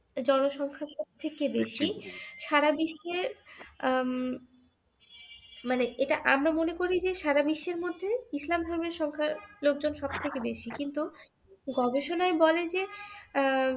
জনসংখ্যা সবচেয়ে থেকে বেশী সারাবিশ্বে হম মানে এইটা আমরা মনে করি যে সারা বিশ্বের মধ্যে ইসলাম ধর্মের লোকজন সবচেয়ে বেশি কিন্তু গবেষণায় বলে যে আহ